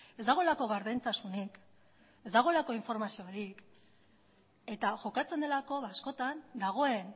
ez dagoelako gardentasunik ez dagoelako informaziorik eta jokatzen delako askotan dagoen